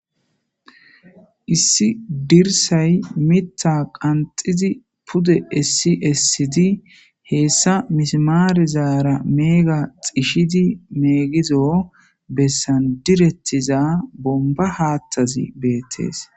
issi dirsay mittha qanxizi pude essi essidi heessa mismaarizara meega xishidi meegizo bessan direttiza bomba haattazi beettees